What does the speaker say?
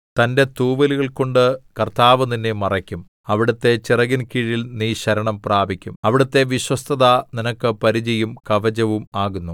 തന്റെ തൂവലുകൾകൊണ്ട് കർത്താവ് നിന്നെ മറയ്ക്കും അവിടുത്തെ ചിറകിൻ കീഴിൽ നീ ശരണം പ്രാപിക്കും അവിടുത്തെ വിശ്വസ്തത നിനക്ക് പരിചയും കവചവും ആകുന്നു